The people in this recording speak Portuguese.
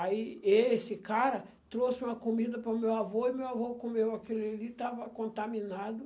Aí esse cara trouxe uma comida para o meu avô e meu avô comeu aquilo ali, estava contaminado.